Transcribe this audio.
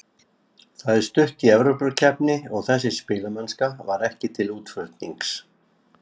Það er stutt í Evrópukeppni og þessi spilamennska var ekki til útflutnings.